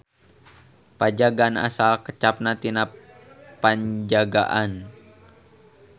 Pajagan asal kecapna tina Penjagaan.